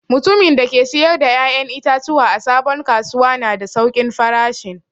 Mutumin da ke siyar da ya'yan itatuwa a sabon kasuwa na da saukin farashin.